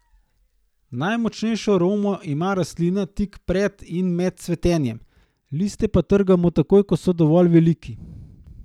Najmočnejšo aromo ima rastlina tik pred in med cvetenjem, liste pa trgamo takoj, ko so dovolj veliki.